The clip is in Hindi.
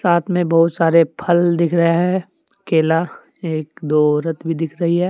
साथ मे बहुत सारे फल दिख रहे है केला एक दो औरत भी दिख रही है।